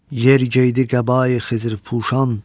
Yer geydi qəbai xızırpuşan.